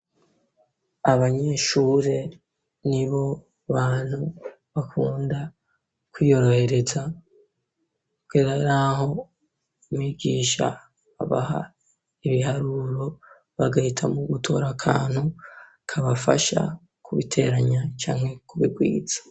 Abanyeshuri nibo bantu bakunda kwiyorohereza kugera yaho mwigisha abaha ibiharuro bagahitamwo gutora akantu kabafasha kubiteranya cane kubikwiza.